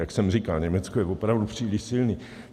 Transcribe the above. Jak jsem říkal, Německo je opravdu příliš silné.